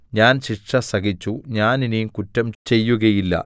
ഞാൻ ശിക്ഷ സഹിച്ചു ഞാൻ ഇനി കുറ്റം ചെയ്യുകയില്ല